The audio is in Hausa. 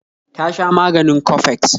ya sha maganin coffex